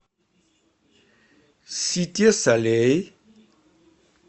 сите солей